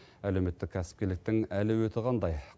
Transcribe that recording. әлеуметтік кәсіпкерліктің әлеуеті қандай